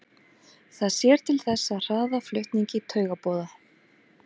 Það sér til þess að hraða flutningi taugaboða.